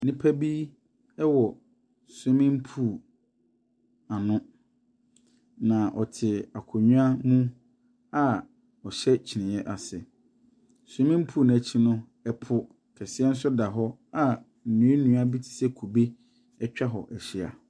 Nnipa bi wɔ swimming pool ano, na wɔte akonnwa mu a wɔhyɛ kyiniiɛ ase. Swimming pool no akyi no, ɛpo kɛseɛ da hɔ a nnua nnua bi te sɛ kube atwa hɔ ahyia.